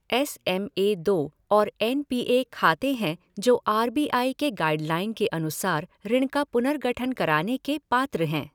S M A दो और N P A खाते हैं जो आर बी आई के गाइडलाइन के अनुासार ऋण का पुनर्गठन कराने के पात्र हैं।